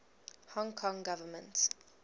hong kong government